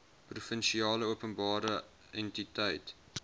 provinsiale openbare entiteit